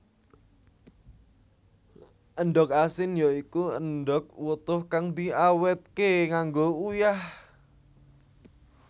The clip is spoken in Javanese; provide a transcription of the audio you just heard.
Endhog asin ya iku endhog wutuh kang diawetké nganggo uyah